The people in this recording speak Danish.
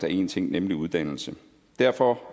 én ting nemlig uddannelse derfor